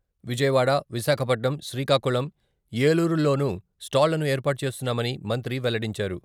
విజయవాడ, విశాఖపట్నం, శ్రీకాకుళం, ఏలూరుల్లోనూ స్టాళ్లను ఏర్పాటు చేస్తున్నామని, మంత్రి వెల్లడించారు.